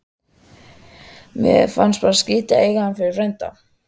Mér fannst bara skrítið að eiga hann fyrir frænda.